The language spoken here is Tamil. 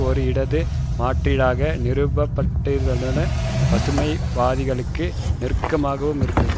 ஒரு இடது மாற்றீடாக நிறுவப்பட்டிருந்ததுடன் பசுமைவாதிகளுக்கு நெருக்கமாகவும் இருந்தது